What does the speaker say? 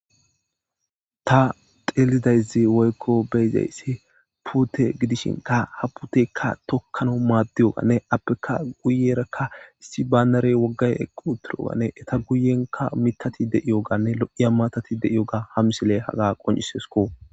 ta xeelidayzi woykko beyzayssi puute gidishinka haputekka tokkano maaddiyogane appeka guyerakka issi baanare woggay equ utirogane eta guyenka mitati deiyoganne lo7iya maatati deiyoga ha misile haga qoncisesko